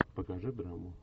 покажи драму